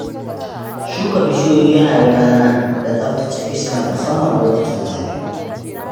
Shuka bishiyoyi yana rage zafin rana da tsaftace iska musamman lokacin zafi.